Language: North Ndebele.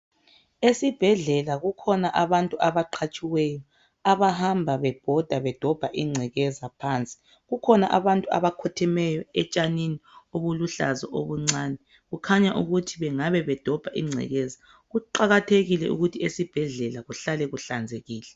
Esibhedlela kukhona abantu abaqhatshiweyo abahamba bebhoda bedobha ingcekeza phansi. Kukhona abantu abakhothemeyo etshanini obuluhlaza obuncane kukhanya ukuthi bengabe badobha ingcekeza. Kuqakathekile ukuthi esibhedlela kuhlale kuhlanzekile.